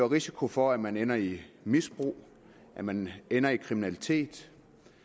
risiko for at man ender i misbrug at man ender i kriminalitet